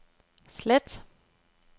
slet